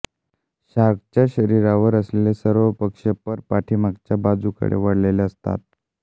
शार्कच्या शरीरावर असलेले सर्व पक्ष पर पाठीमागच्या बाजूकडे वळलेले असतात